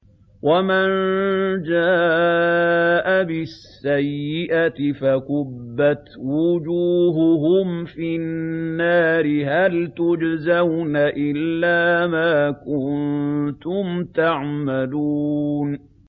وَمَن جَاءَ بِالسَّيِّئَةِ فَكُبَّتْ وُجُوهُهُمْ فِي النَّارِ هَلْ تُجْزَوْنَ إِلَّا مَا كُنتُمْ تَعْمَلُونَ